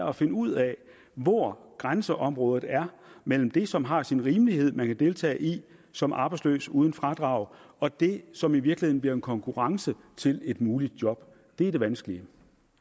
at finde ud af hvor grænseområdet er mellem det som det har sin rimelighed at man kan deltage i som arbejdsløs uden fradrag og det som i virkeligheden bliver en konkurrence til et muligt job det er det vanskelige